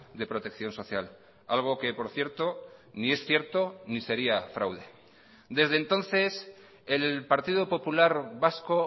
de protección social algo que por cierto ni es cierto ni sería fraude desde entonces el partido popular vasco